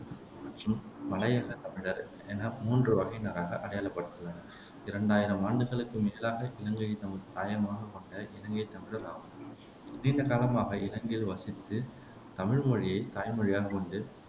மற்றும் மலையகத் தமிழர் என மூன்று வகையினராக அடையாளப்படுத்துள்ளனர் இரண்டாயிரம் ஆண்டுகளுக்கும் மேலாக இலங்கையைத் தமது தாயகமாகக் கொண்ட இலங்கைத் தமிழர் ஆவர் நீண்ட காலமாக இலங்கையில் வசித்து தமிழ் மொழியைத் தாய்மொழியாகக் கொண்டு